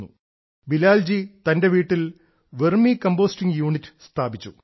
ശ്രീ ബിലാൽ തന്റെ വീട്ടിൽ vermicompost unit സ്ഥാപിച്ചു